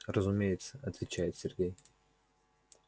разумеется отвечает сергей